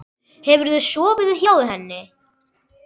Hefurðu sofið hjá henni?